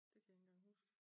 Det kan jeg ikke engang huske